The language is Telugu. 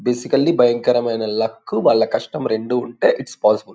బేసికల్లి భయంకరమైన లక్ వాళ్ళ కష్టం రెండూ ఉంటె ఇట్స్ పోసిబుల్ .